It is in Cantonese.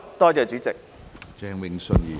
多謝主席。